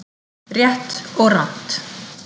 RÉTT OG RANGT